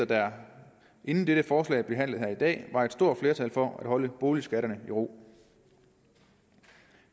der inden dette forslag blev behandlet i dag var et stort flertal for at holde boligskatterne i ro